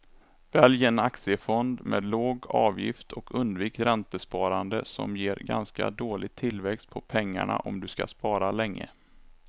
Välj en aktiefond med låg avgift och undvik räntesparande som ger ganska dålig tillväxt på pengarna om du ska spara länge.